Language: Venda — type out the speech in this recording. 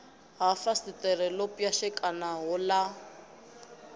ha fasiṱere ḓo pwashekanaho ḽa